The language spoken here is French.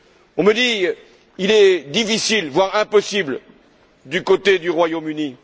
On me dit que ce sera difficile, voire impossible du côté du Royaume Uni.